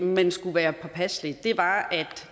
man skulle være påpasselig var